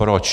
Proč?